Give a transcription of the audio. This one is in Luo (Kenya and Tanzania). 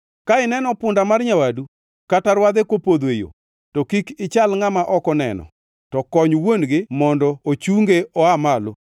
Ka ineno punda mar nyawadu kata rwadhe kopodho e yo, to kik ichal ngʼama ok oneno, to kony wuon-gi mondo ochunge oa malo.